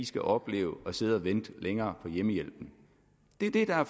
skal opleve at sidde og vente længere på hjemmehjælpen det er det der er